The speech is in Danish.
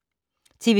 TV 2